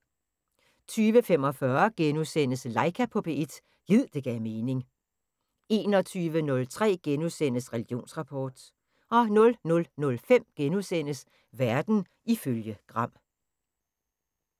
20:45: Laika på P1 – gid det gav mening * 21:03: Religionsrapport * 00:05: Verden ifølge Gram *